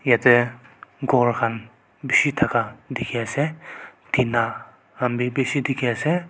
yatae ghor khan bishi thaka dikhiase tina han bi bishi dikhiase.